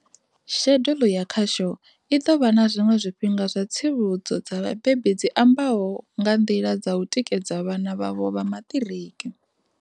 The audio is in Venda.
Shedulu ya khasho i ḓo vha na zwiṅwe zwifhinga zwa tsivhudzo dza vhabebi dzi ambaho nga nḓila dza u tikedza vhana vhavho vha maṱiriki.